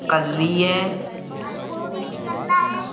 कलली है वो भी कालला है।